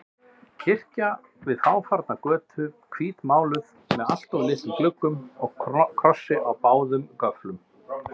Kirkja við fáfarna götu, hvítmáluð með alltof litlum gluggum og krossi á báðum göflum.